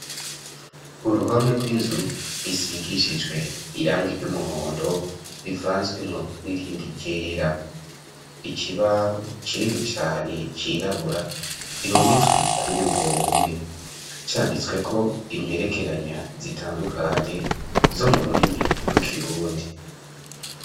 Uruhome rw'inzu, isigishijwe irangi ry'umuhondo, rivanzwemwo n'irindi ryera; ikibaho kinini cane, cirabura, gihometswe kuri urwo ruhome; canditsweko imperekeranya zitandukanye, zo mu rurimi rw'ikirundi.